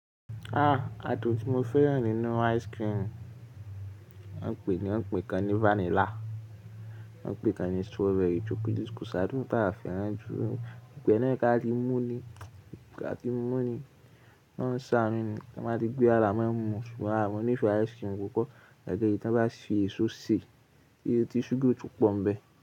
Ah! Àádùn tí mo fẹ́ràn nínú ice cream, wọ́n pè é ní ọ̀pẹ kan ni vanilla, wọ̀n pẹ kan ni strawberry, ko ṣáádú tá fẹ́ràn jù. Gbogbo e náà ká ti mú ni, ká ti mú ni, k'olorun ṣàánú ni, kí a máa gbé àrà mọ́ ẹ mú ṣùgbọ́n àrà mọ́ pupo ice cream kò kọ́ gẹ́gẹ́ bí tí wọ́n bá ṣe èso sè, ti súgà o tun pọ̀ n bẹ.